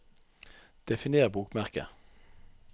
definer bokmerke